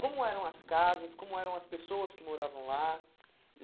Como eram as casas, como eram as pessoas que moravam lá?